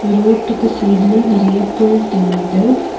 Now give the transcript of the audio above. ரோட்டுக்கு சைடுல நெறைய புல் தெரியுது.